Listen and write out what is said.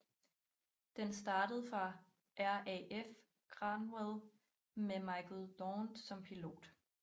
Den startede fra RAF Cranwell med Michael Daunt som pilot